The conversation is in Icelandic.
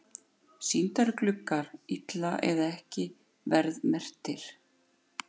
Sýningargluggar illa eða ekki verðmerktir